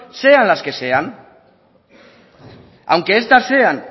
sean las que sean aunque estas sean